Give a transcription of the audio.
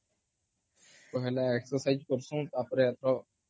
ପହେଲେ exercise କରସୁ ତାପରେ